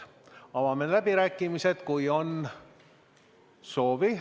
Avame läbirääkimised, kui on soovi.